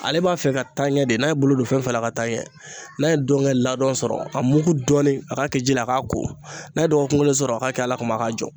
Ale b'a fɛ ka taa ɲɛ de n'a ye bolo don fɛn fila la ka taa ɲɛ n'a ye donkɛ ladɔn sɔrɔ a mugu dɔɔnin a k'a kɛ ji la a k'a ko n'a ye dɔgɔkun kelen sɔrɔ a ka kɛ ALA kuma k'a jɔ.